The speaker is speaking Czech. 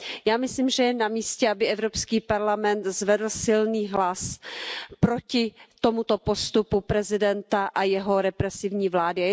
Já myslím, že je na místě, aby Evropský parlament zvedl silný hlas proti tomuto postupu prezidenta a jeho represivní vlády.